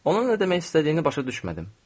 Onun nə demək istədiyini başa düşmədim.